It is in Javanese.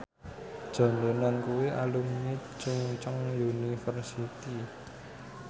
John Lennon kuwi alumni Chungceong University